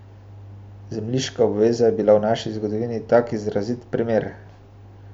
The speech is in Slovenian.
Zemljiška odveza je bila v naši zgodovini tak izrazit primer.